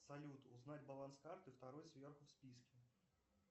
салют узнать баланс карты второй сверху в списке